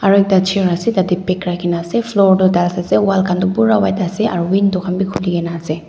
aro ekta chair ase tatae bag rakhinaase floor toh tiles ase wall khan toh bura white ase aro window khan bi khulina ase.